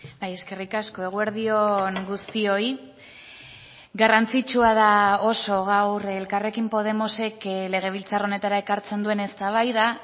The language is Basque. bai eskerrik asko eguerdi on guztioi garrantzitsua da oso gaur elkarrekin podemosek legebiltzar honetara ekartzen duen eztabaida